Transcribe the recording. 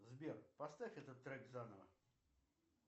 сбер поставь этот трек заново